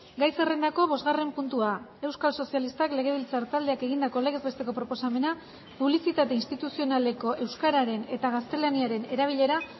gai zerrendako bosgarren puntua euskal sozialistak legebiltzar taldeak egindako legez besteko proposamena publizitate instituzionaleko euskararen eta gaztelaniaren erabilera